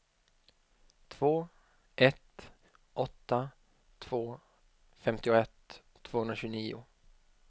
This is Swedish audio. två ett åtta två femtioett tvåhundratjugonio